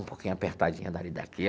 Um pouquinho apertadinha dali, daqui.